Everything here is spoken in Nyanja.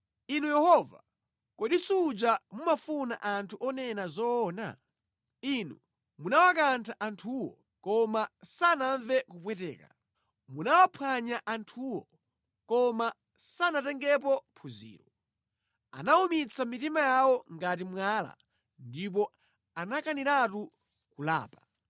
Inu Yehova, kodi suja mumafuna anthu onena zoona? Inu munawakantha anthuwo, koma sanamve kupweteka; munawaphwanya anthuwo, koma sanatengepo phunziro. Anawumitsa mitima yawo ngati mwala ndipo anakaniratu kulapa.